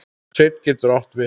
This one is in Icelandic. Sveinn getur átt við